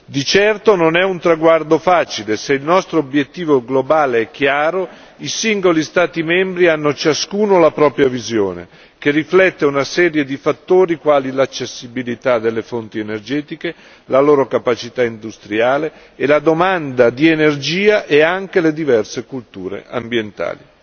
Di certo non è un traguardo facile, se il nostro obiettivo globale è chiaro, i singoli Stati membri hanno ciascuno la propria visione, che riflette una serie di fattori quali l'accessibilità delle fonti energetiche, la loro capacità industriale e la domanda di energia e anche le diverse culture ambientali.